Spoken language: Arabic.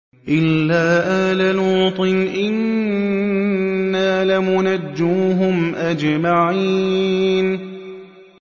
إِلَّا آلَ لُوطٍ إِنَّا لَمُنَجُّوهُمْ أَجْمَعِينَ